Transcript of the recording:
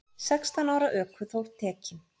Sextán ára ökuþór tekinn